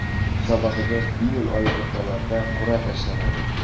Musobaqaga iyul oyi o‘rtalarida qur’a tashlanadi.